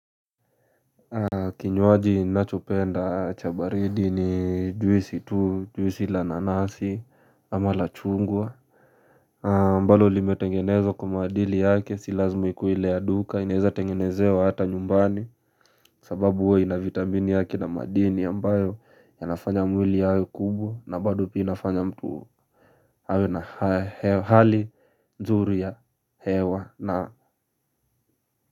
Kinywaji ninachopenda cha baridi ni juisi tu juisi la nanasi ama la chungwa ambalo limetengenezwa kwa maadili yake si lazima ikuwe ile ya duka inaweza tengenezewa hata nyumbani. Sababu huwa ina vitamini yake na madini ambayo yanafanya mwili yawe kubwa na bado pia inafanya mtu awe na hali nzuri ya hewa na.